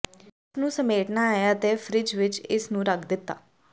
ਇਸ ਨੂੰ ਸਮੇਟਣਾ ਹੈ ਅਤੇ ਫਰਿੱਜ ਵਿੱਚ ਇਸ ਨੂੰ ਰੱਖ ਦਿੱਤਾ